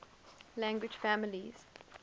language families